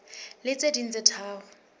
le tse ding tse tharo